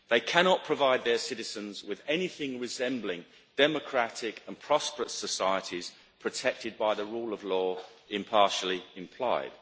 They cannot provide their citizens with anything resembling democratic and prosperous societies protected by the rule of law, impartially implied.